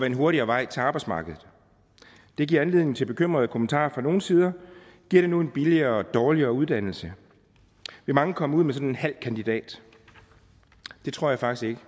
en hurtigere vej til arbejdsmarkedet det giver anledning til bekymrede kommentarer fra nogle sider giver det nu en billigere og dårligere uddannelse vil mange komme ud med sådan en halv kandidat det tror jeg faktisk